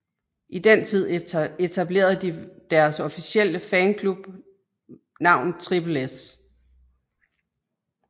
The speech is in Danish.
I den tid etablerede de deres officielle fanklub navn Trippel S